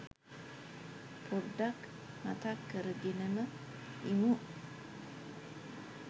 පොඩ්ඩක් මතක් කරගෙනම ඉමු